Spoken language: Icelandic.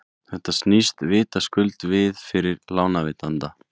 þetta snýst vitaskuld við fyrir lánveitanda